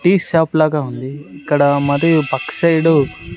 tea shop లాగా ఉంది ఇక్కడ మరియు పక్క సైడు --